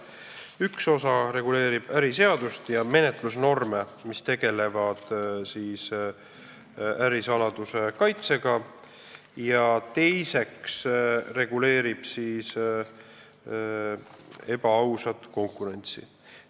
Üks osa reguleerib äriseadustikku ja menetlusnorme, mis tegelevad ärisaladuse kaitsega, ja teine osa reguleerib ebaausat konkurentsi.